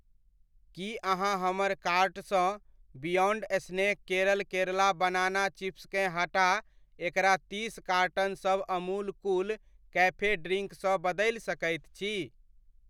की अहाँ हमर कार्ट सँ Beyond Snack Kerala Kerala banana चिप्सकेँ हटा एकरा तीस कार्टनसभ अमूल कूल कैफे ड्रिंक सँ बदलि सकैत छी?